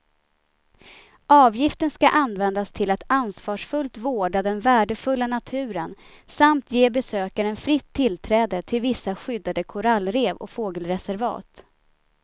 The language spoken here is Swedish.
Avgiften ska användas till att ansvarsfullt vårda den värdefulla naturen samt ge besökaren fritt tillträde till vissa skyddade korallrev och fågelreservat.